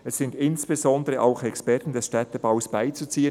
«Es sind insbesondere auch Experten des Städtebaus beizuziehen.